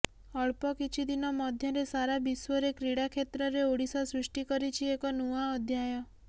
ଅଳ୍ପ କିଛି ଦିନ ମଧ୍ୟରେ ସାରା ବିଶ୍ୱରେ କ୍ରୀଡ଼ା କ୍ଷେତ୍ରରେ ଓଡ଼ିଶା ସୃଷ୍ଟି କରିଛି ଏକ ନୂଆ ଅଧ୍ୟାୟ